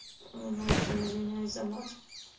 ну очень извиняюсь за мат